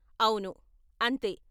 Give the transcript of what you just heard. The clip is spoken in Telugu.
అవును, అంతే.